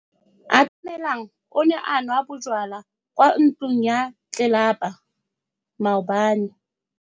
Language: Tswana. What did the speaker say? Atamelang o ne a nwa bojwala kwa ntlong ya tlelapa maobane.